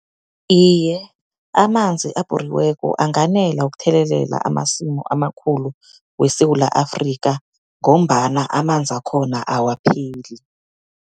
Iye, amanzi abhoriweko anganela ukuthelelela amasimu amakhulu weSewula Afrika, ngombana amanzi wakhona awapheli.